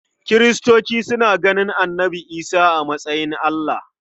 Kiristoci suna ganin Annabi Isa a matsayin Allah.